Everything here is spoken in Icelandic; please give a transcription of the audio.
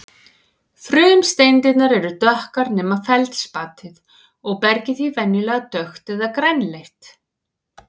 Frumsteindirnar eru dökkar nema feldspatið og bergið því venjulega dökkt eða grænleitt.